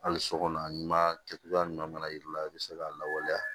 Hali so kɔnɔ ɲuman kɛ cogoya ɲuman mana yir'i la i bɛ se ka lawaleya